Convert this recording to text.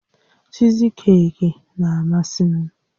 Chiizikeeki na-amasị m